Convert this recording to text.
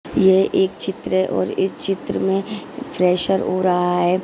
ये एक चित्र हैं और इस चित्र में फ्रेशर हो रहा हैं।